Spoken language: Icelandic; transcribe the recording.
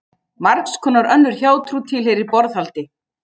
Margs konar önnur hjátrú tilheyrir borðhaldi.